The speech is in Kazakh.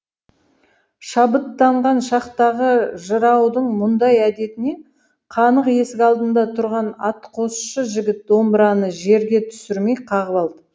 шабыттанған шақтағы жыраудың мұндай әдетіне қанық есік алдында тұрған атқосшы жігіт домбыраны жерге түсірмей қағып алды